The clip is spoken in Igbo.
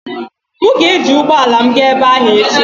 M ga-eji ụgbọ ala m gaa ebe ahụ echi.